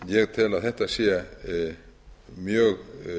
ég tel að þetta sé mjög